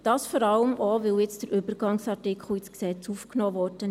Dies vor allem auch, weil nun der Übergangsartikel in das Gesetz aufgenommen wurde.